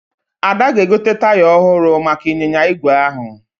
Ada ga-egote taya ọhụrụ maka ịnyịnya ígwè ahụ